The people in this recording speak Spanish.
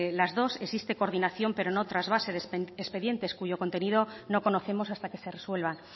las dos existe coordinación pero no trasvase de expedientes cuyo contenido no conocemos hasta que se resuelvan